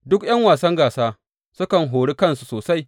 Duk ’yan wasan gasa sukan hori kansu sosai.